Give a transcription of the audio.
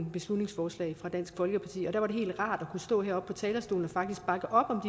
beslutningsforslag fra dansk folkeparti og da var det helt rart at stå heroppe på talerstolen og faktisk bakke op om